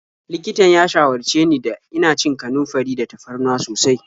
Likitan ya shawarce ni da ina cin kanunfari da tafarnuwa sosai.